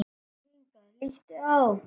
Komdu hingað, líttu á!